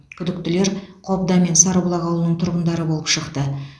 күдіктілер қобда мен сарыбұлақ ауылының тұрғындары болып шықты